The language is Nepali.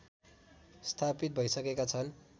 स्थापित भइसकेका छन्